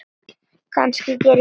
Kannski geri ég það.